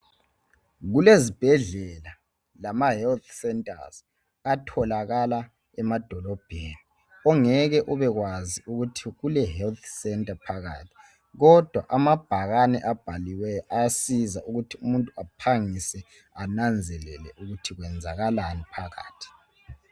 Kulezibhedlela lamahealth centres atholakala emadolobheni ongeke ubekwazi ukuthi kule health centre phakathi kodwa amabhakane abhaliweyo ayasiza ukuthi umuntu ananzelele ukuthi kwenzakalani phakathi.